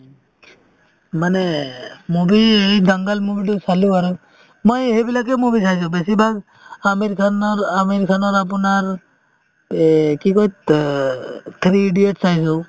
মানে movie এই dangal movie তো চালো আৰু মই সেইবিলাকে movie চাইছো বেছিভাগ আমিৰ খানৰ আমিৰ খানৰ আপোনাৰ এ কি কই থ্ৰা~three idiots চাইছো